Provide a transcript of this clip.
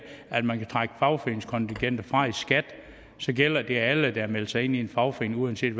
at man kan trække fagforeningskontingenter fra i skat gælder det alle der har meldt sig ind i en fagforening uanset